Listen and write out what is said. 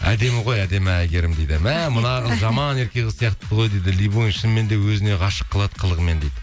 әдемі ғой әдемі әйгерім дейді мә мына қыз жаман ерке қыз сияқты ғой дейді любойын шынымен өзіне ғашық қылады қылығымен дейді